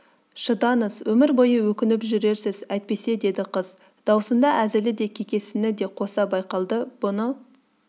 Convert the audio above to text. шыдаңыз өмір бойы өкініп жүрерсіз әйтпесе деді қыз дауысында әзілі де кекесіні де қоса байқалды бұны